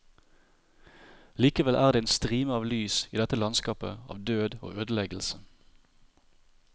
Likevel er det en strime av lys i dette landskapet av død og ødeleggelse.